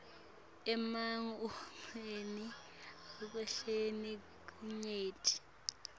emamuvi ahlukene kanyenti